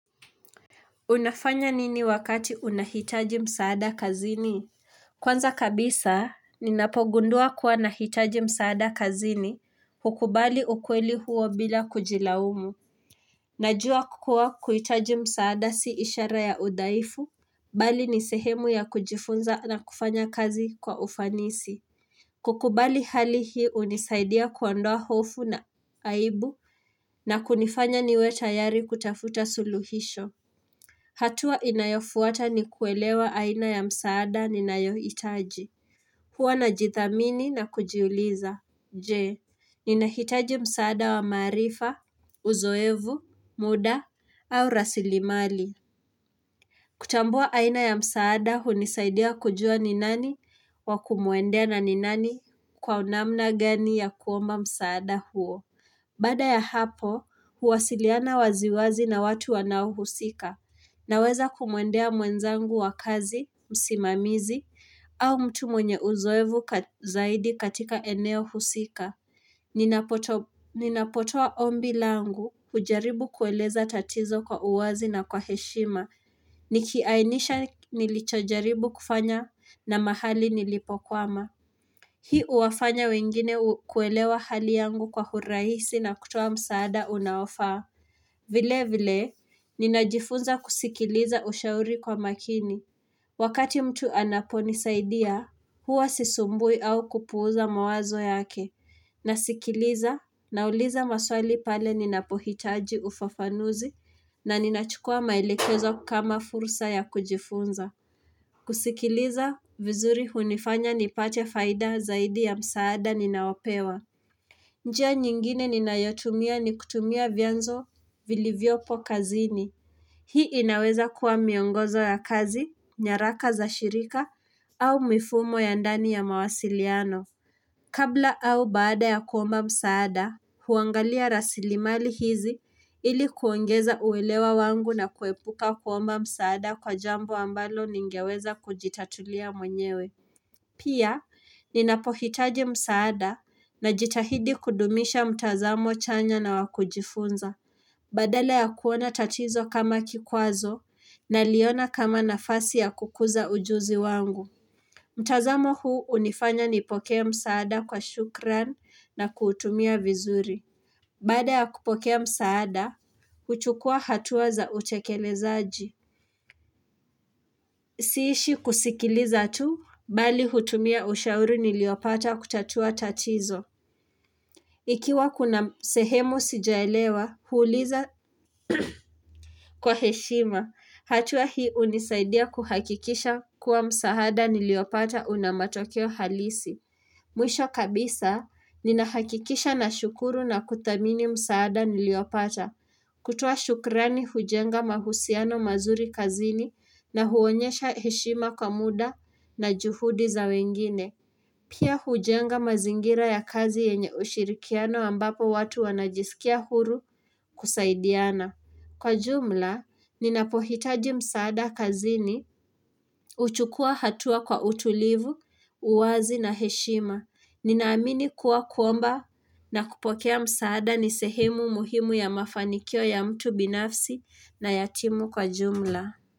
Unafanya nini wakati unahitaji msaada kazini? Kwanza kabisa, ninapogundua kuwa nahitaji msaada kazini hukubali ukweli huo bila kujilaumu. Najua kukua kuhitaji msaada si ishara ya udhaifu, bali ni sehemu ya kujifunza na kufanya kazi kwa ufanisi. Kukubali hali hii hunisaidia kuandoa hofu na aibu na kunifanya niwe tayari kutafuta suluhisho. Hatua inayofuata ni kuelewa aina ya msaada ninayo hitaji. Huwa najathamini na kujiuliza. Je, ninahitaji msaada wa maarifa, uzoevu, muda au rasilimali. Kutambua aina ya msaada hunisaidia kujua ni nani wa kumuendea na ninani kwa namna gani ya kuomba msaada huo. Bada ya hapo, huwasiliana waziwazi na watu wanao husika, na weza kumwendea mwenzangu wa kazi, msimamizi, au mtu mwenye uzoevu zaidi katika eneo husika. Ninapotoa ombi langu, hujaribu kueleza tatizo kwa uwazi na kwa heshima, nikiainisha nilichojaribu kufanya na mahali nilipo kwama. Hii huwafanya wengine kuelewa hali yangu kwa hurahisi na kutoa msaada unaofaa. Vile vile, ninajifunza kusikiliza ushauri kwa makini. Wakati mtu anaponisaidia, huwa sisumbui au kupuuza mawazo yake. Nasikiliza, nauliza maswali pale ninapohitaji ufafanuzi na ninachukua maelekezo kama fursa ya kujifunza. Kusikiliza vizuri hunifanya nipate faida zaidi ya msaada ninawapewa njia nyingine ninayotumia ni kutumia vyanzo vilivyopo kazini Hii inaweza kuwa miongozo ya kazi, nyaraka za shirika au mifumo ya ndani ya mawasiliano Kabla au baada ya kuomba msaada, huangalia raslimali hizi ili kuongeza uelewa wangu na kuepuka kuomba msaada kwa jambo ambalo ningeweza kujitatulia mwenyewe. Pia, ninapohitaji msaada na jitahidi kudumisha mtazamo chanya na wakujifunza, badala ya kuona tatizo kama kikwazo naliona kama nafasi ya kukuza ujuzi wangu. Mtazamo huu hunifanya nipokea msaada kwa shukran na kuutumia vizuri. Baada ya kupokea msaada, huchukua hatua za utekelezaji. Siishi kusikiliza tu, bali hutumia ushauri niliopata kutatua tatizo. Ikiwa kuna sehemu sijaelewa, huuliza kwa heshima. Hatua hii hunisaidia kuhakikisha kuwa msaada niliopata unamatokeo halisi. Mwisho kabisa, ninahakikisha na shukuru na kuthamini msaada niliopata. Kutoa shukrani hujenga mahusiano mazuri kazini na huonyesha heshima kwa muda na juhudi za wengine. Pia hujenga mazingira ya kazi yenye ushirikiano ambapo watu wanajisikia huru kusaidiana. Kwa jumla, ninapohitaji msaada kazini, huchukua hatua kwa utulivu, uwazi na heshima. Ninaamini kuwa kuomba na kupokea msaada nisehemu muhimu ya mafanikio ya mtu binafsi na yatimu kwa jumla.